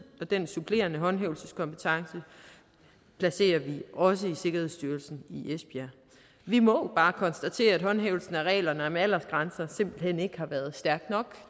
og den supplerende håndhævelseskompetence placerer vi også i sikkerhedsstyrelsen i esbjerg vi må bare konstatere at håndhævelsen af reglerne om aldersgrænser simpelt hen ikke har været stærk nok